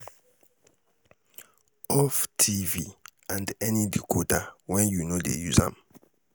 off tv and any decoder wen yu no dey use am